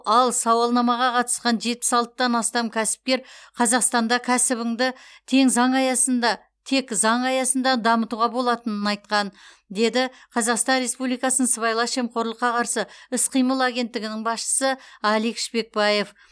ал сауалнамаға қатысқан жетпіс алтыдан астам кәсіпкер қазақстанда кәсібіңді тең заң аясында тек заң аясында дамытуға болатынын айтқан деді қазақстан республикасы сыбайлас жемқорлыққа қарсы іс қимыл агенттігінің басшысы алик шпекбаев